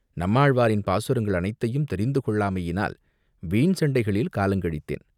நம்மாழ்வாரின் பாசுரங்கள் அனைத்தையும் தெரிந்து கொள்ளாமையினால் வீண் சண்டைகளில் காலங்கழித்தேன்.